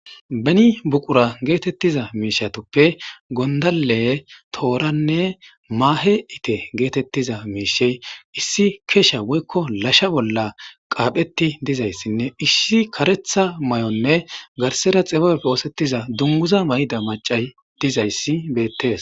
Beni buqura geetettiza miishatuppe gondale tooranne maahe ite geetettiza miishe issi keesha woykko lasha bolla qaapheti dizayssinne issi karetha may7onne garsera xibepfe oosettiza dunguza mayda macay dizayssi beettes.